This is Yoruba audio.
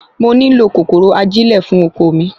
mo nílò kòkòrò ajilẹ fún oko mi